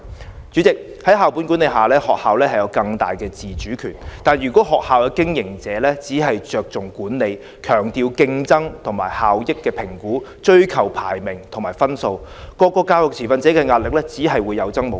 代理主席，在校本管理下，學校有更大的自主權，但如果學校的經營者只着重管理，強調競爭和效益的評核，追求排名和分數，各個教育持份者的壓力只會有增無減。